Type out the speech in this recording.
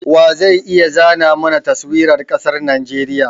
Wa zai iya zana mana Taswirar ƙasar Najeriya?